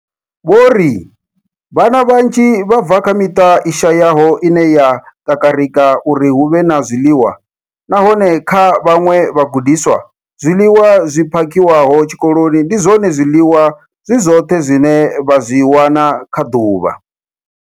Vho ri, Vhana vhanzhi vha bva kha miṱa i shayaho ine ya kakarika uri hu vhe na zwiḽiwa, nahone kha vhaṅwe vhagudiswa, zwiḽiwa zwi phakhiwaho tshikoloni ndi zwone zwiḽiwa zwi zwoṱhe zwine vha zwi wana kha ḓuvha.